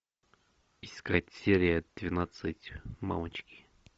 искать серия двенадцать мамочки